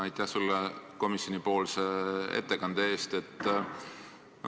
Aitäh sulle komisjonipoolse ettekande eest!